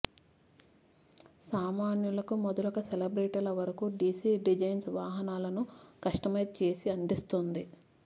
సామాన్యులకు మొదలుక సెలబ్రిటీల వరకూ డిసి డిజైన్స్ వాహనాలను కస్టమైజ్ చేసి అందిస్తుంది